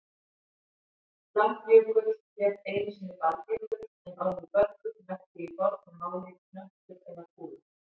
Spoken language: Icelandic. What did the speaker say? Langjökull hét einu sinni Baldjökull en orðið böllur merkti í fornu máli hnöttur eða kúla.